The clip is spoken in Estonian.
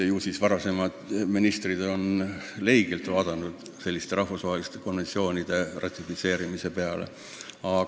Ju siis varasemad ministrid on selliste rahvusvaheliste konventsioonide ratifitseerimise peale leige pilguga vaadanud.